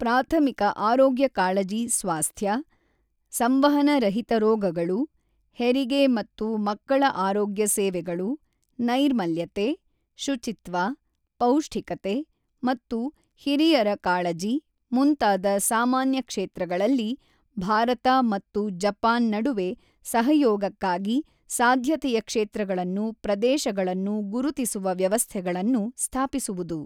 ಪ್ರಾಥಮಿಕ ಆರೋಗ್ಯಕಾಳಜಿ ಸ್ವಾಸ್ಥ್ಯ, ಸಂವಹನ ರಹಿತ ರೋಗಗಳು, ಹೆರಿಗೆ ಮತ್ತು ಮಕ್ಕಳ ಆರೋಗ್ಯ ಸೇವೆಗಳು, ನೈರ್ಮಲ್ಯತೆ, ಶುಚಿತ್ವ, ಪೌಷ್ಠಿಕತೆ ಮತ್ತು ಹಿರಿಯರ ಕಾಳಜಿ ಮುಂತಾದ ಸಾಮಾನ್ಯ ಕ್ಷೇತ್ರಗಳಲ್ಲಿ ಭಾರತ ಮತ್ತು ಜಪಾನ್ ನಡುವೆ ಸಹಯೋಗಕ್ಕಾಗಿ ಸಾಧ್ಯತೆಯ ಕ್ಷೇತ್ರಗಳನ್ನು ಪ್ರದೇಶಗಳನ್ನು ಗುರುತಿಸುವ ವ್ಯವಸ್ಥೆಗಳನ್ನು ಸ್ಥಾಪಿಸುವುದು.